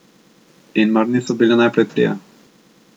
In mar niso bili najprej trije?